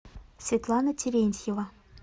светлана терентьева